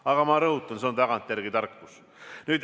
Aga ma rõhutan, see on tagantjärele tarkus.